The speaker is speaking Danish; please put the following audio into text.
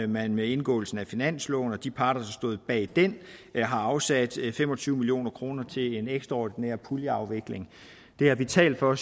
man med indgåelsen af finansloven og de parter der stod bag den har afsat fem og tyve million kroner til en ekstraordinær puljeafvikling det har vi talt for